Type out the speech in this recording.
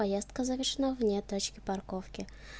поездка завершена вне точки парковки